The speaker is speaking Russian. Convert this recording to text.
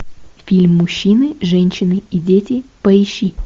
фильм мужчины женщины и дети поищи